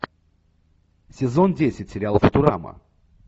сезон десять сериал футурама